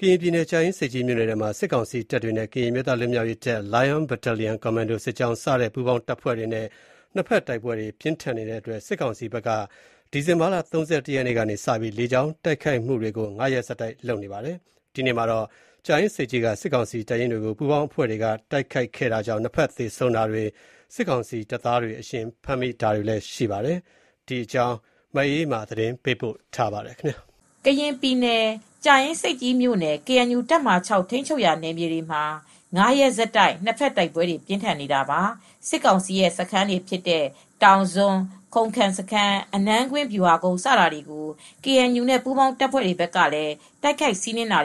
ကရင်ပြည်နယ်၊ ကြာအင်းဆိပ်ကြီးမြို့နယ်ထဲမှာ စစ်ကောင်စီတပ်တွေနဲ့ ကရင်အမျိုးသားလွတ်မြောက်ရေးတပ်၊ Lion Battalion Commando စစ်ကြောင်း စတဲ့ပူးပေါင်းတပ်ဖွဲ့တွေနဲ့ နှစ်ဘက်တိုက်ပွဲတွေပြင်းထန်နေတဲ့အတွက် စစ်ကောင်စီဘက်က ဒီဇင်ဘာလ ၃၁ ရက်နေ့ကစပြီး ၅ ရက်ဆက်တိုက် လေကြောင်းကပါ တိုက်ခိုက်နေပါတယ်။ ဒီနေ့မှာတော့ ကြားအင်းဆိပ်ကြီးမြို့က စစ်ကောင်စီတပ်ရင်းတွေကို ပူးပေါင်းအဖွဲ့တွေက တိုက်ခိုက်ခဲ့တာမှာ နှစ်ဖက်စလုံးမှာ အကျအဆုံးတွေရှိပြီး စစ်ကောင်စီတပ်သားတွေကို အရှင်ဖမ်းမိတာတွေလည်း ရှိကြောင်းသတင်းတွေလည်း ထွက်ပေါ်နေပါတယ်။ ဒီအကြောင်း ဗွီအိုအေသတင်းထောက် မအေးအေးမာက သတင်းပေးပို့ထားပါတယ်။ ကရင်ပြည်နယ် ကြာအင်းဆိပ်ကြီးမြို့KNU တပ်မဟာ (၆) ထိန်းချုပ်ရာနယ်မြေတွေမှာ ၅ ရက်ဆက်တိုက် နှစ်ဘက်တိုက်ပွဲတွေ ပြင်းထန်နေတာပါ။ စစ်ကောင်စီစခန်းတွေဖြစ်တဲ့ တောင်စွန်း၊ ခုံခမ်စခန်း၊ အနန်းကွင်း၊ ဗျူဟာကုန်းစတာတွေကို KNU နဲ့ပူးပေါင်းတပ်ဖွဲ့တွေဘက်ကလည်း တိုက်ခိုက်စီးနင်းနေ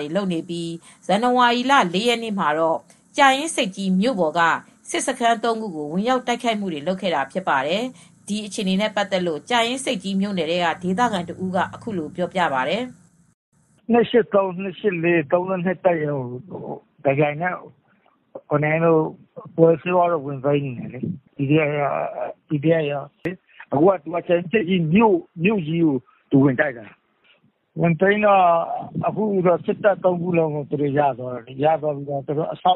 ပြီး ဇန်နဝါရီလ ၄ ရက်နေ့မှာတော့ ကြာအင်းဆိပ်ကြီးမြို့ပေါ်က စစ်စခန်း ၃ ခုကို ဝင်ရောက်တိုက်ခိုက်ခဲ့ပါတယ်။ ဒီတိုက်ပွဲဖြစ်စဉ်နဲ့ပတ်သက်လို့ ကြာအင်းဆိပ်ကြီးမြို့နယ်ထဲက ဒေသခံတဦးက အခုလိုပြောပြပါတယ်။ “ခလရ ၂၈၃၊ ၂၈၄၊ ၃၂ စတဲ့တပ်တွေကို တပြိုင်နက် ဗိုလ်အယ်ဆေးဝါးတို့၊ PDF တွေက ဝင်သိမ်းနေတယ်။ မြို့ကြီးကို ဝင်တိုက်နေတာ။ ဝင်သိမ်းတော့ စစ်တပ်စခန်း ၃ ခုလုံးကို သူတို့ရပြီး အဆောက်အဦးတွေ ကို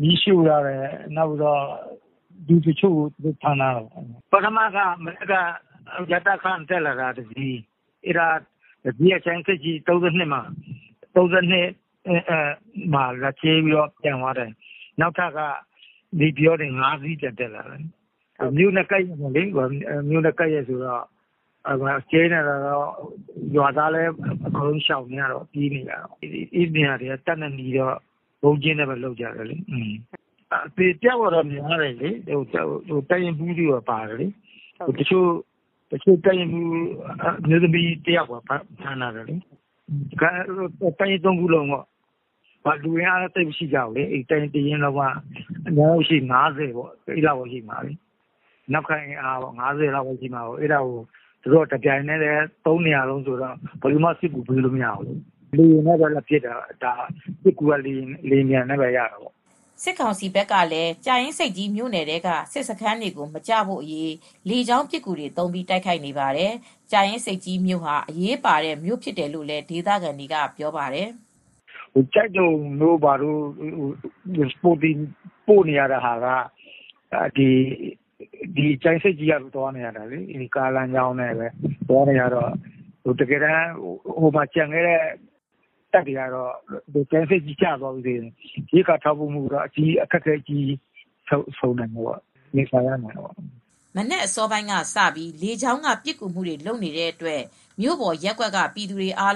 မီးရှို့ထားတယ်။ လူတွေလည်းဖမ်းထားတယ်။ ပထမတော့ ရတခ က တက်လာတာ။ လေယာဉ်တစီး။ အဲဒါက ကြာအင်းဆိပ်ကြီး ၃၂ စခန်းဘက်ကို ဝင်ကြဲတယ်။ ပြန်သွားတယ်။ နောက်ထပ်ကတော့ နေပြည်တော်ဘက်က ၅ စီးထပ်တက်လာတယ်။ မြို့နဲ့ကပ်ရက်ဆိုတော့ ရွာသားလည်း အကုန်ရှောင်နေရတယ်။ ပြေးနေရတယ်။ အဲဒီနေရာက တပ်နဲ့နီးတော့ ဗုံးကျင်းထဲမှာ နေနေရတယ်။ အသေအပျောက်လည်းများတယ်။ တပ်ရင်းမှူးတချို့လည်း ပါတယ်။ တပ်ရင်းမှူးရဲ့အမျိုးသမီးလည်းဖမ်းခံထားရတယ်။ သူတို့က လူအင်အားလည်း သိပ်မရှိဘူး။ တပ်ရင်း ၃ ရင်းလုံးက နောက်ကအင်အားက တခုကို ၅၀ လောက်ပဲရှိတာ။ တပြိုင်နက်ဝင်စီးတော့ စစ်ကူပေးလို့လည်း မရတော့ဘူး။ ဒီတော့ စစ်ကူက လေယာဉ်နဲ့ပဲလာပစ်တာ။ လေယာဉ်နဲ့ပဲရတယ်လေ။” စစ်ကောင်စီဘက်ကလည်း ကြာအင်းဆိပ်ကြီး မြို့နယ်ထဲက စစ်စခန်းတွေမကျဖို့ လေကြောင်းပစ်ကူတွေသုံးပြီး တိုက်ခိုက်နေပါတယ်။ ကြာအင်းဆိပ်ကြီးဟာ ထောက်ပံ့ပို့ဆောင်ရေးအတွက် အရေးပါတဲ့ မြို့ဖြစ်တယ်လို့လည်း ဒေသခံကပြောပါတယ်။ “ကျိုက်ဒုံဘက်ကို Support ထောက်ပို့သွားနေရတာက ကြာအင်းဆိပ်ကြီးကနေ သွားပို့နေရတယ်ဆိုတော့ ကားလမ်းကြောင်းနဲ့ပဲသွားနေရတာဆိုတော့ ကျန်ခဲ့တဲ့တပ်တွေကတော့ ကြာအင်းဆိပ်ကြီးဘက်ကကျရင် ရိက္ခာတွေပြတ်တာကို ရင်ဆိုင်ရနိုင်တယ်။” မနက်အစောပိုင်းကစပြီး လေကြောင်းကပစ်ကူမှုလုပ်နေတဲ့အတွက် မြို့ပေါ်ရပ်ကွက်ကပြည်သူတွေဟာ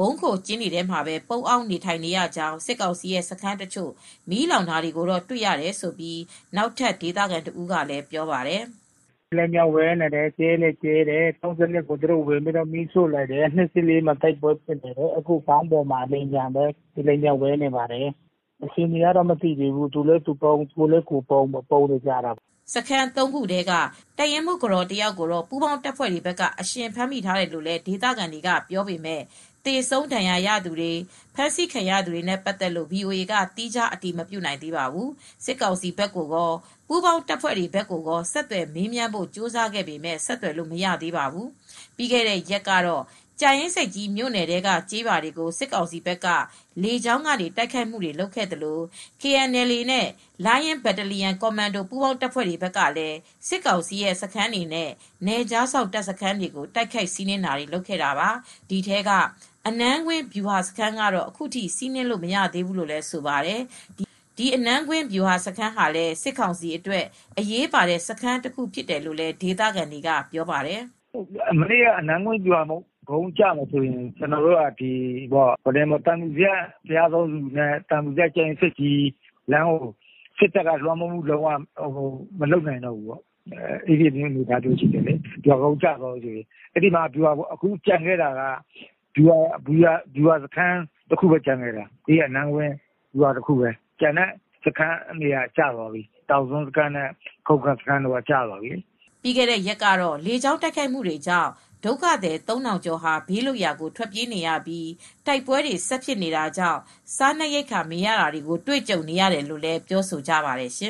ဗုံးခိုကျင်းထဲမှာပဲ ပုန်းအောင်းနေရကြောင်း စစ်ကောင်စီရဲ့စခန်းတချို့မီးလောင်တာတွေကိုတွေ့ရတယ်လို့ နောက်ထပ်ဒေသခံတဦးကပြောပါတယ်။ “ လေယာဉ်ပံျက ဝဲနေတယ်။ ဗုံးတွေလည်းကြဲနေတယ်။ ၃၂ ကို သူတို့ဝင်စီးလိုက်တယ်။ မီးရှို့လိုက်တယ်။ ၂၈၄ မှာ တိုက်ပွဲဖြစ်နေပါတယ်။ ခေါင်းပေါ်မှာ အခုလေယာဉ်ကလည်း ဝဲနေတယ်။ အခြေအနေကတော့မသိသေးဘူး။ သူလည်းသူပုန်း၊ ကိုယ်လည်းကိုယ်ပုန်းလုပ်နေရတယ်။” စခန်း ၃ ခုထဲက တပ်ရင်းမှူးကတော်တယောက်ကို ပူးပေါင်းတပ်ဖွဲ့တွေဘက်က အရှင်ဖမ်းမိထားတယ်လို့ ဒေသခံတွေကပြောပေမယ့် သေဆုံးဒဏ်ရာရသူတွေ၊ အဖမ်းအဆီးခံရသူတွေနဲ့ပတ်သက်လို့ VOA ကသီးခြားအတည်မပြုနိုင်သေးပါဘူး။ စစ်ကောင်စီဘက်ကိုကော ပူးပေါင်းတပ်ဖွဲ့တွေဘက်ကိုကော ဆက်သွယ်မေးမြန်းဖို့ ကြိုးစားခဲ့ပေမဲ့ ဆက်သွယ်လို့မရသေးပါဘူး။ ပြီးခဲ့တဲ့ရက်ကတော့ ကြာအင်းဆိပ်ကြီးမြို့နယ်ထဲက ကျေးရွာတွေကို စစ်ကောင်စီဘက်က လေကြောင်းကနေ တိုက်ခိုက်ခဲ့သလို KNLA နဲ့ Lion Battalion Commando ပူးပေါင်းတပ်ဖွဲ့တွေဘက်ကလည်း စစ်ကောင်စီရဲ့စခန်းတွေနဲ့ နယ်ခြားစောင့်တပ်စခန်းတွေကို တိုက်ခိုက်စီးနင်းခဲ့တာပါ။ ဒီထဲက အနန်းကွင်းဗျူဟာစခန်းကတော့ အခုထိ စီးနင်းလို့မရသေးဘူးလို့ဆိုပါတယ်။ ဒီအနန်းကွင်းဗျူဟာစခန်းဟာလည်း စစ်ကောင်စီအတွက် အရေးပါတဲ့ စခန်းတခုဖြစ်တယ်လို့လည်း ဒေသခံတွေကဆိုပါတယ်။ “မနေ့က အနန်းကွင်းဗျူဟာကုန်းကျမယ်ဆိုရင် သံဖြူဇရပ်-ဘုရားသုံးဆူနဲ့ သံဖြူဇရပ်-ကြာအင်းဆိပ်ကြီးလမ်းကို စစ်တပ်က မလွှမ်းမိုးနိုင်တဲ့အနေအထားရှိတယ်။ အနန်းကွင်းမှာတော့ ဗျူဟာကုန်းတခုပဲကျန်တော့တယ်။ ကျန်တဲ့ တောင်စွန်းစခန်းနဲ့ခုံခမ်စခန်းတို့က ကျသွားပြီ။” ပြီးခဲ့တဲ့ရက်က လေကြောင်းတိုက်ခိုက်မှုတွေကြောင့် ဒုက္ခသည် ၃,၀၀၀ ကျော်ဟာ ဘေးလွတ်ရာကိုထွက်ပြေးနေရပြီး တိုက်ပွဲတွေဆက်ဖြစ်နေတာကြောင့် စားနပ်ရိက္ခာတွေမရနိုင်တော့ဘဲ ဖြစ်နေတယ်လို့ ပြောနေကြပါတယ်ရှင